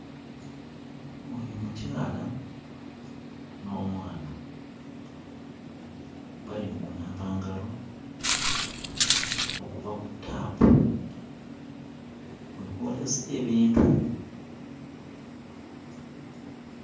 Oyo mukyala, n'omwana. Bali mu kunaaba ngalo, okuva ku ttaapu mwe booleza ebintu.